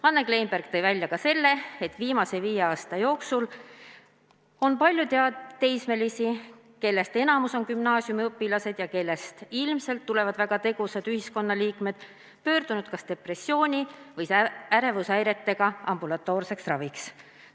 Anne Kleinberg tõi välja ka selle, et viimase viie aasta jooksul on palju teismelisi, kellest enamik on gümnaasiumiõpilased ja kellest ilmselt tulevad väga tegusad ühiskonnaliikmed, pöördunud kas depressiooni või ärevushäiretega ambulatoorset ravi saama.